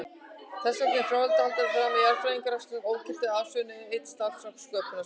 Þessvegna væri fráleitt að halda því fram að jarðfræðirannsóknir ógiltu eða afsönnuðu einn stafkrók sköpunarsögunnar.